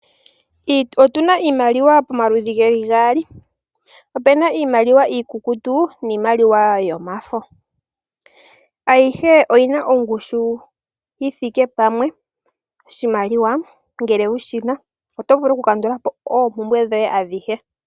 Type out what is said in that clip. Otuna iimaliwa pamaludhi geli gaali. Opena iimaliwa iikukutu niimaliwa yomafo. Ayihe oyina ongushu yithike pamwe. Oshimaliwa ngele wushina oto vulu oku kandulapo oompumbwe dhoye adhihe.